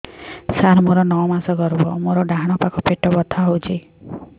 ସାର ମୋର ନଅ ମାସ ଗର୍ଭ ମୋର ଡାହାଣ ପାଖ ପେଟ ବଥା ହେଉଛି